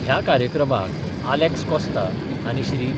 ह्या कार्यक्रमाक आलॅक्स कॉस्ता आनी श्री.